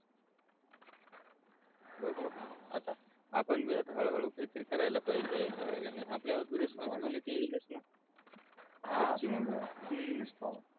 बघू आता आपण भी आता हळू हळू काही तरी करायला पाहिजे हे कि नाही आपल्या वर बी रेस्पॉन्सिबिलिटी येईलच न हा हम्म